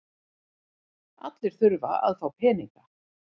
Allir þurfa að fá peninga.